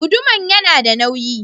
Guduman yana da nauyi.